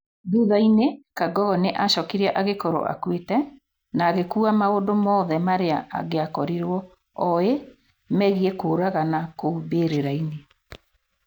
Thutha-inĩ Kangogo nĩ acokire agĩkorwo akuĩte, na agĩkuua maũndu mothe marĩa angĩakorirwo oĩ megiĩ kũũragana kũu mbĩrĩra-inĩ.